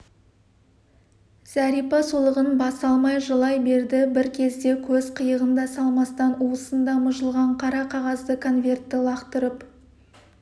зәрипа солығын баса алмай жылай берді бір кезде көз қиығын да салмастан уысында мыжылған қара қағазды конвертті лақтырып